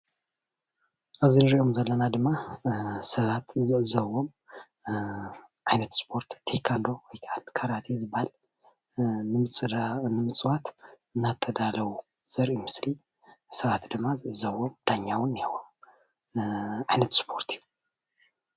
እዚ ንሪኦም ዘለና ድማ ሰብት ዝዕዘብዎም ዓይነት ስፓርት ቴካንዶ ወይ ከዓ ካሬት ዝበሃል ንምፅዋት እናተዳለው ዘሪኢ ምስሊ ስባት ድማ ዝዕዘቡ ዳኛ እውን እኒህው ዓይነት ስፓርት እዩ፡፡